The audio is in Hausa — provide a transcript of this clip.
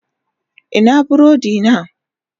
Ina burodina?